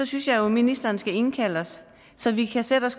synes jeg jo ministeren skal indkalde os så vi kan sætte os